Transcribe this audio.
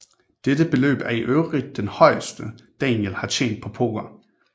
Dette beløb er i øvrigt det højeste Daniel har tjent på poker